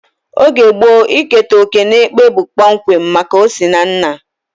Oge gboo, iketa oké n'ekpe bụ kpọmkwem maka osinanna